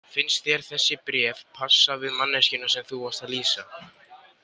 Finnst þér þessi bréf passa við manneskjuna sem þú varst að lýsa?